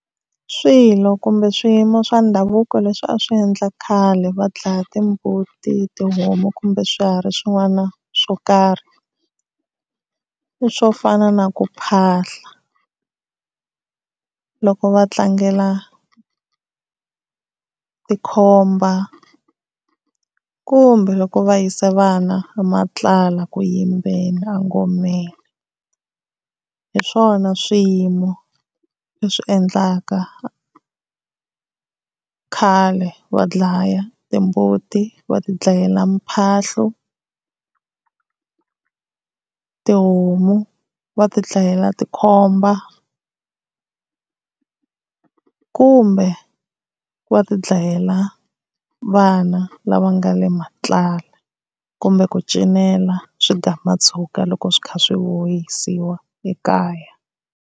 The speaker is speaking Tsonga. Swilo kumbe swiyimo swa ndhavuko leswi a swi endla khale va dlaya timbuti, tihomu kumbe swihari swin'wana swo karhi i swo fana na ku phahla loko va tlangela tikhomba kumbe loko va yisa vana matlala ku yimbeni engomeni. Hi swona swiyimo leswi endlaka khale va dlaya timbuti va ti dlayela mphahlu, tihomu va ti dlayela tikhomba kumbe ku va ti dlayela vana lava nga le matlala kumbe ku cinela swigamatshuka loko swi kha swi vuyisiwa ekaya.